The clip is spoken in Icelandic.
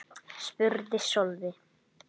spurði Sölvi.